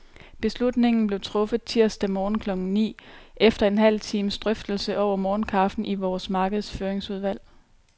Beslutningen blev truffet tirsdag morgen klokken ni, efter en halv times drøftelse over morgenkaffen i vores markedsføringsudvalg.